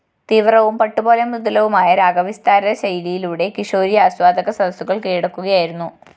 തീവ്രവും പട്ടുപോലെ മൃദുലവുമായ രാഗവിസ്താരശൈലിയിലൂടെ കിഷോരി ആസ്വാദകസദസ്സുകള്‍ കീഴടക്കുകയായിരുന്നു